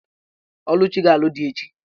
Oluchi ga-alụ di echi.